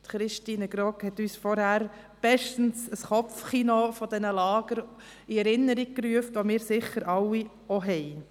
Christine Grogg hat uns bestens ein Kopfkino dieser Lager in Erinnerung gerufen, das wir alle sicher auch haben.